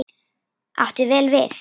Átti vel við.